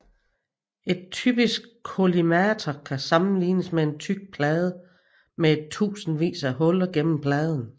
En typisk kollimator kan sammenlignes med en tyk plade med en tusindvis af huller gennem pladen